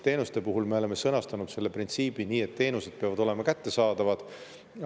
Teenuste puhul me oleme sõnastanud selle printsiibi nii, et teenused peavad olema kättesaadavad.